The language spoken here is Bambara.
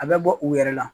A bɛ bɔ u yɛrɛ la